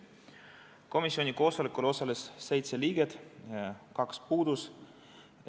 Komisjoni koosolekul osales seitse liiget, kaks puudusid.